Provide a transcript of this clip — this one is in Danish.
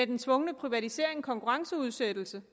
den tvungne privatisering og konkurrenceudsættelse